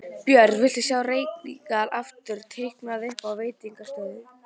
Björn: Viltu sjá reykingar aftur teknar upp á veitingastöðum?